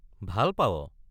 ভাল পাৱ?